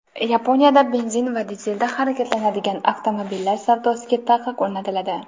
Yaponiyada benzin va dizelda harakatlanadigan avtomobillar savdosiga taqiq o‘rnatiladi.